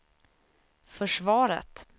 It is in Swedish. försvaret